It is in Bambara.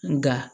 Nka